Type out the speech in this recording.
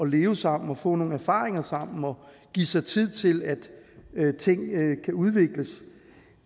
leve sammen og få nogle erfaringer sammen og give sig tid til at ting kan udvikles